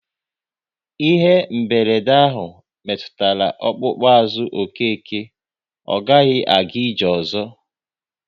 Ihe mberede ahụ metụtara ọkpụkpụ azụ Okeke, ọ gaghị aga ije ozo